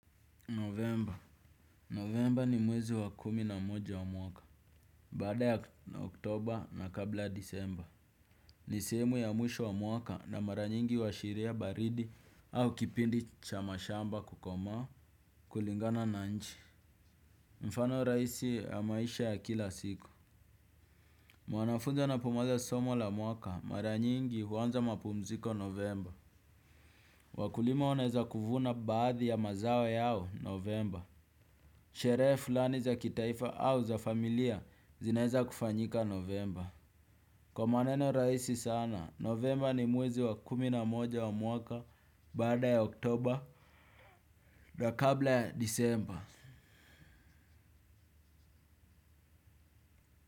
Novemba Novemba ni mwezi wa kumi na moja wa mwaka. Baada ya oktoba na kabla ya disemba ni sehemu ya mwisho wa mwaka na mara nyingi huashiria baridi. Au kipindi cha mashamba kukomaa kulingana na nchi mfano rahisi ya maisha ya kila siku mwanafunzi anapomaliza somo la mwaka mara nyingi huanza mapumziko novemba. Wakulima wanaeza kuvuna baadhi ya mazao yao novemba. Sherehe fulani za kitaifa au za familia zinaeza kufanyika novemba. Kwa maneno rahisi sana, novemba ni mwezi wa kumi na moja wa mwaka, baada ya oktoba, na kabla ya disemba.